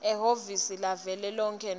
ehhovisi lavelonkhe nobe